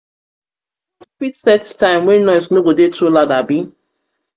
fit set time wey noise no go dey too loud abi?